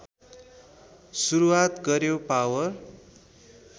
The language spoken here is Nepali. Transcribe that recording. सुरुवात गर्‍यो पावर